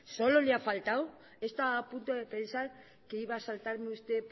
solo le ha faltado he estado a punto de pensar que iba a saltarme usted